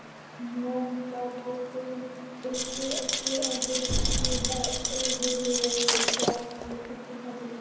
Nótabáturinn fylgdi eftir en beið í hæfilegri fjarlægð eftir kalli.